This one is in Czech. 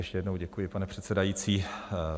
Ještě jednou děkuji, pane předsedající.